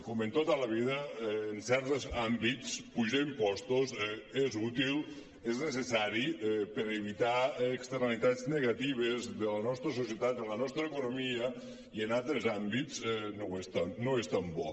com en tot a la vida en certs àmbits apujar impostos és útil és necessari per evitar externalitats negatives de la nostra societat de la nostra economia i en altres àmbits no és tan bo